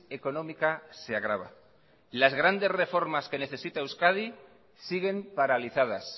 económica se agrava las grandes reformas que necesita euskadi siguen paralizadas